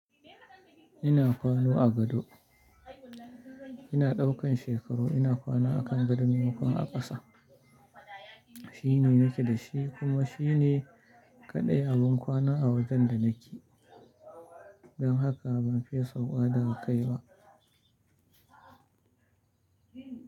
Ina kwana a gado. Ina ɗaukan shekaru ina kwana a kan gado mai ma kon a ƙasa. Shine nake da shi kuma shine kaɗai abin kwana a wajen da nake. Don haka ban fiye sauƙa daga kai ba.